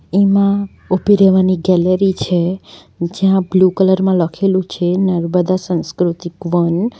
એમાં ઊભી રહેવાની ગેલેરી છે જ્યાં બ્લુ કલર માં લખેલું છે નર્મદા સંસ્કૃતિક વન.